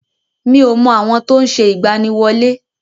Mi ò mọ àwọn tó ń ṣe ìgbaniwọlé.